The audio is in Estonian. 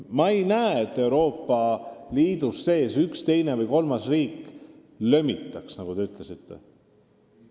Ma ei näe, et Euroopa Liidu sees üks, teine või kolmas riik kellegi ees lömitaks, nagu te ütlesite.